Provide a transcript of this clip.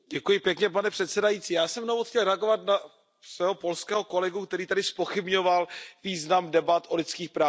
Pane předsedající, já jsem jenom chtěl reagovat na svého polského kolegu, který tady zpochybňoval význam debat o lidských právech.